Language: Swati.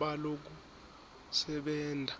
balokusebenta